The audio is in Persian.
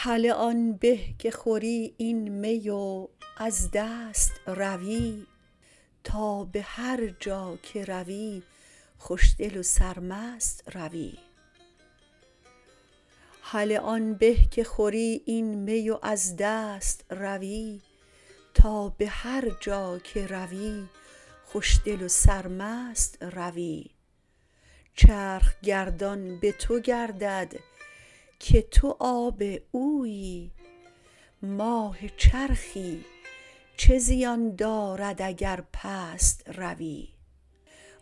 هله آن به که خوری این می و از دست روی تا به هر جا که روی خوشدل و سرمست روی چرخ گردان به تو گردد که تو آب اویی ماه چرخی چه زیان دارد اگر پست روی